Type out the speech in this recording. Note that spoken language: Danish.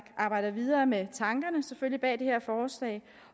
arbejder videre med tankerne bag det her forslag